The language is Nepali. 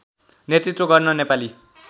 नेतृत्त्व गर्न नेपाली